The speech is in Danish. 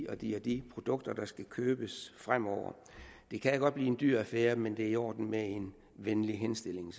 og de de produkter der skal købes fremover det kan godt blive en dyr affære men det er selvfølgelig i orden med en venlig henstilling